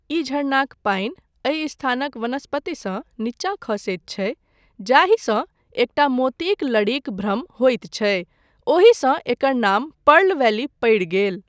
ई झरनाक पानि एहि स्थानक वनस्पतिसँ नीचा खसैत छै, जाहिसँ एकटा मोतीक लड़ीक भ्रम होइत छै, ओहिसँ एकर नाम पर्ल वैली पड़ि गेल।